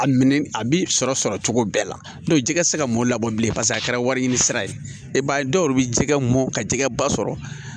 A minɛn a bi sɔrɔ sɔrɔ cogo bɛɛ la n'o tɛ jɛgɛ tɛ se ka mɔn labɔ bilen paseke a kɛra wari ɲini sira ye i b'a ye dɔw yɛrɛ bɛ jɛgɛ mɔn ka jɛgɛ ba sɔrɔ